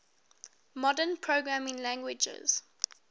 modern programming languages